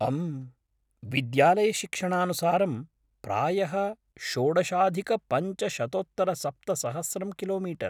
अम्, विद्यालयशिक्षणानुसारं, प्रायः, षोडशाधिकपञ्चशतोत्तरसप्तसहस्रं किलोमीटर् ?